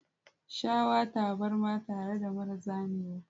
Shawa tabarma tare da mara zamewa.